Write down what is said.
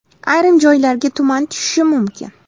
Ayrim joylarga tuman tushishi mumkin.